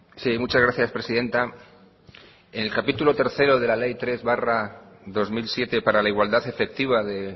sí muchas gracias presidenta en el capítulo tercero de la ley tres barra dos mil siete para la igualdad efectiva de